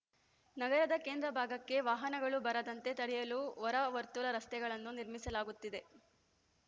ನಗರದ ಕೇಂದ್ರ ಭಾಗಕ್ಕೆ ವಾಹನಗಳು ಬರದಂತೆ ತಡೆಯಲು ಹೊರವರ್ತುಲ ರಸ್ತೆಗಳನ್ನು ನಿರ್ಮಿಸಲಾಗುತ್ತಿದೆ